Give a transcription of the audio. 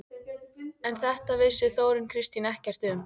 En þetta vissi Þórunn Kristín ekkert um.